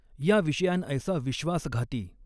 या विषयांऐसा विश्वासघाती।